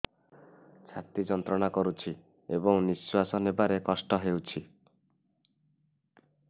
ଛାତି ଯନ୍ତ୍ରଣା କରୁଛି ଏବଂ ନିଶ୍ୱାସ ନେବାରେ କଷ୍ଟ ହେଉଛି